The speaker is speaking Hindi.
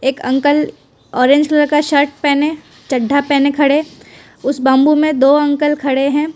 एक अंकल ऑरेंज कलर का शर्ट पहने चड्ढा पहने खड़े उस बंबू में दो अंकल खड़े हैं।